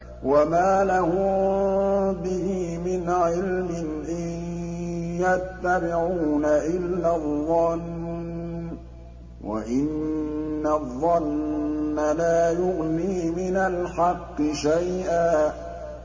وَمَا لَهُم بِهِ مِنْ عِلْمٍ ۖ إِن يَتَّبِعُونَ إِلَّا الظَّنَّ ۖ وَإِنَّ الظَّنَّ لَا يُغْنِي مِنَ الْحَقِّ شَيْئًا